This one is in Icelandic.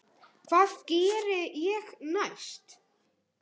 Hvað geri ég næst?